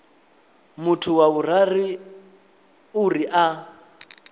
muthu wa vhuraru uri a